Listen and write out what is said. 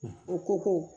O ko ko